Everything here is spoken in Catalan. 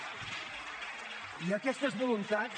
i aquestes voluntats